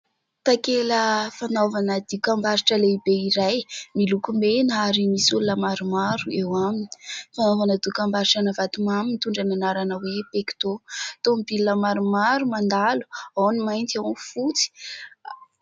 Takela fanaovana dokam-barotra lehibe iray miloko mena ary misy olona maromaro eo aminy. Fanaovana dokam-barotrana vatomamy mitondra ny anarana hoe "pecto". Tomobila maromaro mandalo. Ao any mainty, ao ny fotsy.